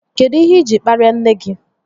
Kedụ ihe iji kparia nne gị?